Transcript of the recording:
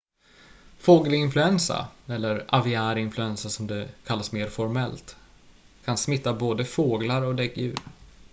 fågelinfluensa eller aviär influensa som det kallas mer formellt kan smitta både fåglar och däggdjur